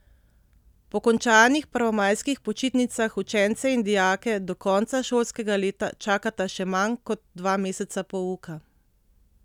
Po končanih prvomajskih počitnicah učence in dijake do konca šolskega leta čakata še manj kot dva meseca pouka.